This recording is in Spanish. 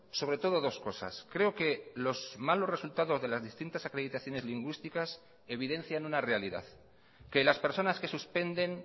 sobre todo dos cosas creo que los malos resultados de las distintas acreditaciones lingüísticas evidencian una realidad que las personas que suspenden